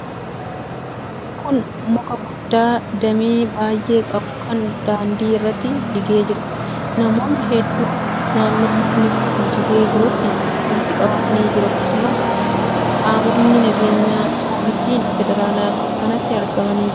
Kun muka guddaa damee baay'ee qabu kan daandii irratti jigee jiruudha. Namoonni hedduun naannoo mukni kun jigee jirutti walitti qabamanii jiru. Akkasumas qaamonni nageenyaa, poolisiin federaalaa bakka kanatti argamanii jiru.